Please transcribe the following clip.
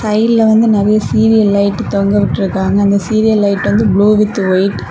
சைடுல வந்து நெறைய சீரியல் லைட் தொங்கவிட்டிர்க்காங்க அந்த சீரியல் லைட் வந்து ப்ளூ வித் ஒயிட் .